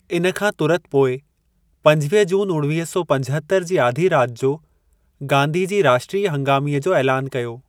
इन खां तुरत पोइ पंजवीह जून उणवीह सौ पंजहतरि जी आधी राति जो गांधी जी राष्ट्रीय हंगामीअ जो ऐलानु कयो।